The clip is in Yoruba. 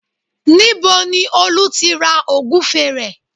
Níbo ni Olú ti ra Ògúfe rẹ̀?